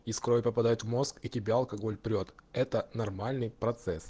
из крови попадает в мозг и тебя алкоголь прёт это нормальный процесс